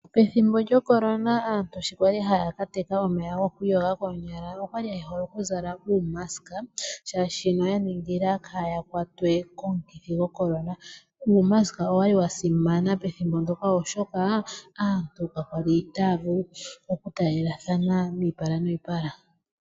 Pethimbo lyo Corona aantu sho yali haya ka teka omeya goku iyoga koonyala, oyali ye hole oku zala uumaska, shaashi oya ningila kaaya kwatwe komukithi go Corona. Uumaska owali wa simana pethimbo ndyoka oshoka, aantu ka yali taya vulu oku taalelathana oshipala noshipala.